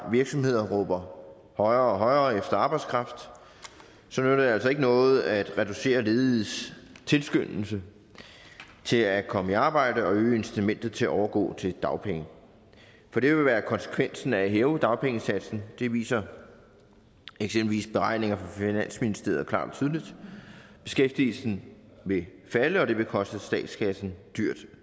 virksomheder råber højere og højere efter arbejdskraft så nytter det altså ikke noget at reducere lediges tilskyndelse til at komme i arbejde og øge incitamentet til at overgå til dagpenge for det vil være konsekvensen af at hæve dagpengesatsen det viser eksempelvis beregninger fra finansministeriet klart og tydeligt beskæftigelsen vil falde og det vil koste statskassen dyrt og